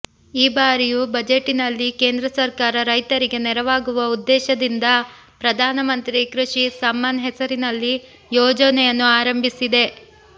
ಈ ಬಾರಿಯ ಬಜೆಟಿನಲ್ಲಿ ಕೇಂದ್ರ ಸರ್ಕಾರ ರೈತರಿಗೆ ನೆರವಾಗುವ ಉದ್ದೇಶದಿಂದ ಪ್ರಧಾನ ಮಂತ್ರಿ ಕೃಷಿ ಸಮ್ಮಾನ್ ಹೆಸರಿನಲ್ಲಿ ಯೋಜನೆಯನ್ನು ಆರಂಭಿಸಿದೆ